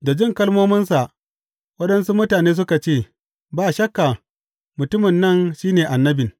Da jin kalmominsa, waɗansu mutane suka ce, Ba shakka, mutumin nan shi ne Annabin.